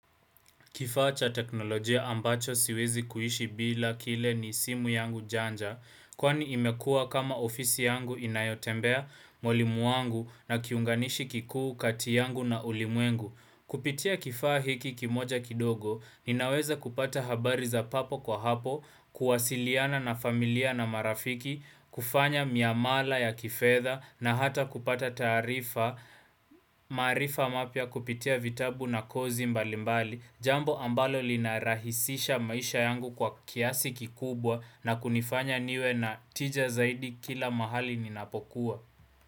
Kifaa cha teknolojia ambacho siwezi kuishi bila kile ni simu yangu janja, kwani imekua kama ofisi yangu inayotembea mwili mwangu na kiunganishi kikuu kati yangu na ulimwengu. Kupitia kifaa hiki kimoja kidogo, ninaweza kupata habari za hapo kwa hapo, kuwasiliana na familia na marafiki, kufanya miamala ya kifedha na hata kupata tarifa, maarifa mapya kupitia vitabu na kozi mbalimbali, Jambo ambalo linarahisisha maisha yangu kwa kiasi kikubwa na kunifanya niwe na tija zaidi kila mahali ninapokuwa.